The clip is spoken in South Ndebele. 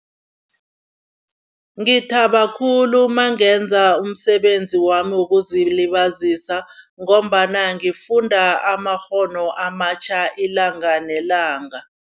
Ngithaba khulu nangenza umsebenzi wami wokuzilibazisa ngombana ngifunda amakghono amatjha ilanga nelanga.